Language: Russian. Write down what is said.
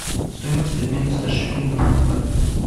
стоимость обмена ста шиллингов на бат